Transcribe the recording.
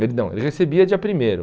Perdão, ele recebia dia primeiro.